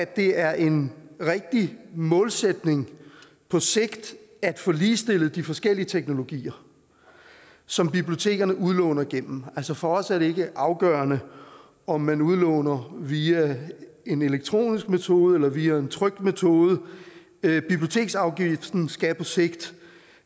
det er en rigtig målsætning på sigt at få ligestillet de forskellige teknologier som bibliotekerne udlåner gennem for os er det ikke afgørende om man udlåner via en elektronisk metode eller via en trykt metode biblioteksafgiften skal på sigt